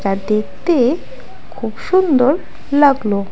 দেখতে খুব সুন্দর লাগলো।